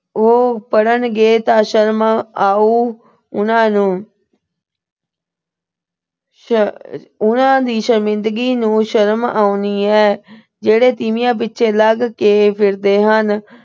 ਅਹ ਉਹ ਪੜਨਗੇ ਤਾਂ ਸ਼ਰਮ ਆਉ ਉਹਨਾਂ ਨੂੰ। ਸ਼ਅ ਅਹ ਉਹਨਾਂ ਦੀ ਸ਼ਰਮਿੰਦਗੀ ਨੂੰ ਸ਼ਰਮ ਆਉਣੀ ਆ ਜਿਹੜੇ ਤੀਵੀਆਂ ਪਿੱਛੇ ਲੱਗ ਕੇ ਫਿਰਦੇ ਹਨ।